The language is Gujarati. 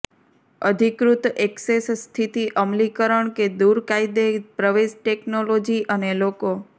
અધિકૃત ઍક્સેસ સ્થિતિ અમલીકરણ કે દૂર ગેરકાયદે પ્રવેશ ટેકનોલોજી અને લોકો